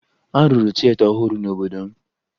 A rụrụ tieta ọhụrụ n'obodo m